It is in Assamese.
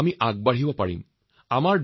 আমাৰ দেশো প্ৰগতিৰ পথত আগুৱাই যাব পাৰে